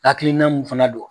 Hakilinan mun fana don